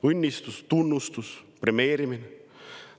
Kas õnnistus, tunnustus, premeerimine?